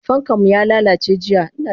Fankanmu yalalace jiya.